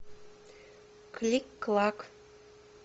клик клак